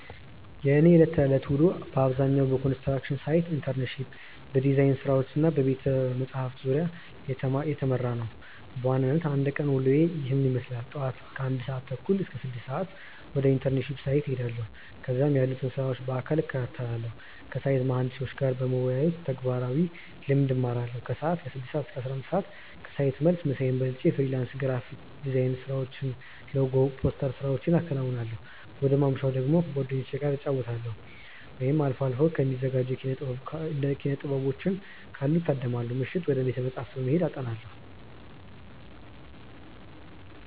የእኔ የዕለት ተዕለት ውሎ በአብዛኛው በኮንስትራክሽን ሳይት ኢንተርንሺፕ፣ በዲዛይን ስራዎች እና በቤተ-መጻሕፍት ዙሪያ የተሰማራ ነው። በዋናነት የአንድ ቀን ውሎዬ ይህንን ይመስላል፦ ጧት (ከ1:30 - 6:00)፦ ወደ ኢንተርንሺፕ ሳይት እሄዳለሁ። እዚያም ያሉትን ስራዎች በአካል እከታተላለሁ። ከሳይት መሃንዲሶች ጋር በመወያየት ተግባራዊ ልምድ እማራለሁ። ከሰዓት (ከ6:00 - 11:00)፦ ከሳይት መልስ ምሳዬን በልቼ የፍሪላንስ ግራፊክ ዲዛይን ስራዎችን (ሎጎ፣ ፖስተር ስራዎቼን አከናውናለሁ። ወደ ማምሻ ደግሞ፦ ከጓደኞቼ ጋር እንጫወታለን፣ ወይም አልፎ አልፎ የሚዘጋጁ የኪነ-ጥበቦችን ካሉ እታደማለሁ። ምሽት፦ ወደ ቤተ-መጻሕፍት በመሄድ አጠናለሁ።